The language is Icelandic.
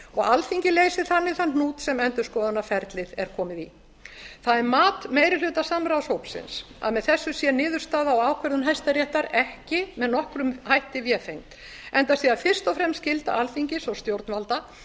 og alþingi leysi þannig þann hnút sem endurskoðunarferlið er komið í það er mat meirirhlutasamráðshópsins að með þessu sé niðurstaða og ákvörðun hæstaréttar ekki með nokkrum hætti vefengd enda sé það fyrst og fremst skylda alþingis og stjórnvalda